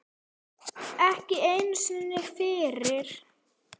Ekki einu sinni fyrir